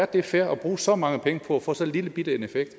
det er fair at bruge så mange penge på at få så lillebitte en effekt